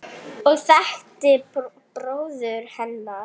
og þekktir bróður hennar.